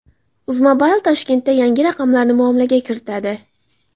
Uzmobile Toshkentda yangi raqamlarni muomalaga kiritadi.